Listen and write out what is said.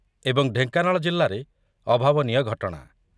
ଏବଂ ଢେଙ୍କାନାଳ ଜିଲ୍ଲାରେ ଅଭାବନୀୟ ଘଟଣା